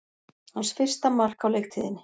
Hans fyrsta mark á leiktíðinni